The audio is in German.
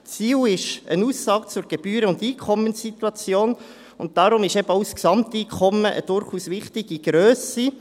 – Ziel ist eine Aussage zur Gebühren- und Einkommenssituation, und deswegen ist eben auch das Gesamteinkommen eine durchaus wichtige Grösse.